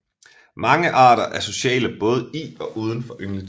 Mange arter er sociale både i og udenfor yngletiden